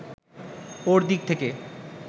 ওঁর দিক থেকে